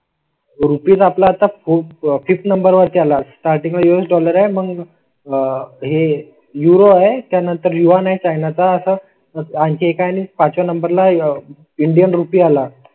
Rupees आपला आता खूप फिट नंबरवर त्याला स्टार्टिंग यूएस डॉलर आहे. मग आह हे युरो आहे. त्यानंतर युवा नाहीच आहे ना तर असा आणखी एक आणि पाचव्या नंबर ला इंडियन रुपया ला.